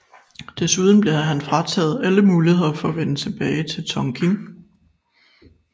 Desuden blev han frataget alle muligheder for at vende tilbage til Tonkin